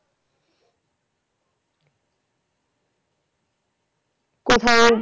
কোথাও